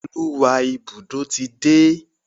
Oluwa Ibùdó tí dé.